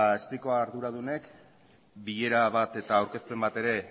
spriko arduradunek bilera bat eta aurkezpen bat ere